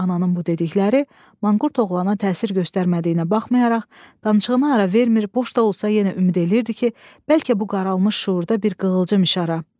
Ananın bu dedikləri manqurt oğlana təsir göstərmədiyinə baxmayaraq, danışığına ara vermir, boş da olsa yenə ümid eləyirdi ki, bəlkə bu qaralmış şüurda bir qığılcım işara.